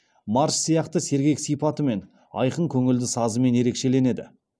марш сияқты сергек сипатымен айқын көңілді сазымен ерекшеленеді